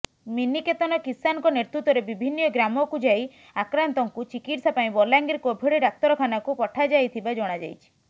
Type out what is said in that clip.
ମିନିକେତନ କିଷାନଙ୍କ ନେତୃତ୍ୱରେ ବିଭିନ୍ନ ଗ୍ରାମକୁ ଯାଇ ଆକ୍ରାନ୍ତଙ୍କୁ ଚିକିତ୍ସା ପାଇଁ ବଲାଙ୍ଗିର କୋଭିଡ ଡାକ୍ତରଖାନାକୁ ପଠାଯାଇଥିବା ଜଣାଯାଇଛି